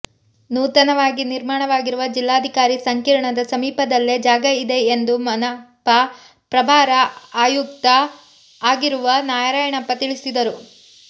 ನೂತನವಾಗಿ ನಿರ್ಮಾಣವಾಗಿರುವ ಜಿಲ್ಲಾಧಿಕಾರಿ ಸಂಕೀರ್ಣದ ಸಮೀಪದಲ್ಲೇ ಜಾಗ ಇದೆ ಎಂದು ಮನಪಾ ಪ್ರಭಾರ ಆಯುಕ್ತೂ ಆಗಿರುವ ನಾರಾಯಣಪ್ಪ ತಿಳಿಸಿದರು